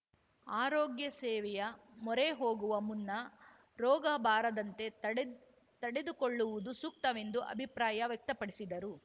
ಆರೋಗ್ಯ ಸೇವೆಯ ಮೊರೆ ಹೋಗುವ ಮುನ್ನರೋಗ ಬಾರದಂತೆ ತಡೆದ್ ತಡೆದುಕೊ ಳ್ಳುವುದು ಸೂಕ್ತವೆಂದು ಅಭಿಪ್ರಾಯ ವ್ಯಕ್ತಪಡಿಸಿದರು